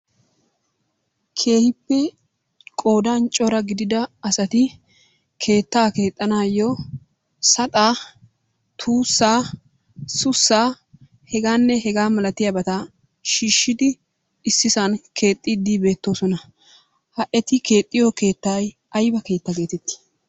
Keehippe qoodaan cora gidida asati keettaa keexanaayo saxxaa, tuussaa, sussaa, hegaanne hegaa malatiyabata shiishidi ississan keexxidi beettoosona. Ha eti keexiyo keettay ayba keetta geettetti?